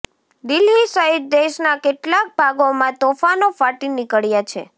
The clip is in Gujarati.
દિલ્હી સહિત દેશના કેટલાક ભાગોમાં તોફાનો ફાટી નીકળ્યા છે